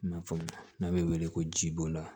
I n'a fɔ n'a bɛ wele ko ji bɔnna